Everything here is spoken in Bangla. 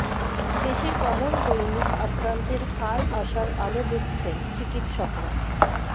দেশে কমল দৈনিক আক্রান্তের হার আশার আলো দেখছেন চিকিৎসকরা